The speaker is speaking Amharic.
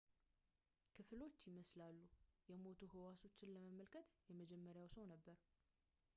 ክፍሎች ይመስላሉ የሞቱ ህዋሶችን ለመመልከት የመጀመሪያው ሰው ነበር